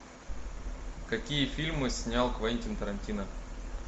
какие фильмы снял квентин тарантино